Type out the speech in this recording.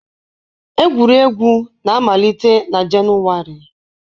Egwuregwu na-amalite na Jenụwarị